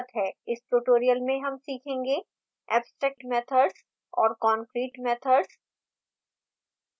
इस tutorial में हम सीखेंगे abstract methods और concrete methods